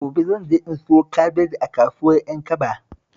Gobe zan je in siyo kabeji a kasuwar Ƴankaba